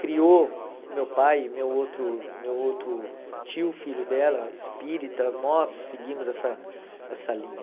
criou meu pai e meu outro meu outro tio, filho dela, espírita, nós seguimos essa essa linha.